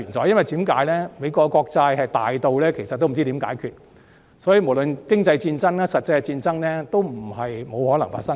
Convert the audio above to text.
原因是美國國債龐大到不知如何解決，無論經濟戰爭或實際戰爭也不是不可能發生。